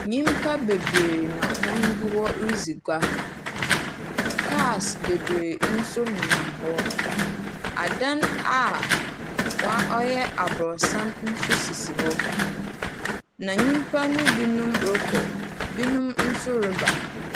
Nnipa bebree na wɔn gu hɔ redzi gua. Kaas bebree nso nenam hɔ. Adan a wɔyɛ aborosan nso sisi hɔ. Na nnipa no binom rekɔ na binom nso reba.